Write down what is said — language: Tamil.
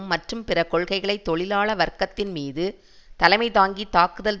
மற்றும் பிற கொள்கைகளை தொழிலாள வர்க்கத்தின் மீது தலைமைதாங்கி தாக்குதல்